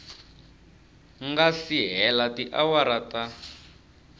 nga si hela tiawara ta